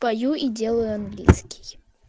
пою и делаю английский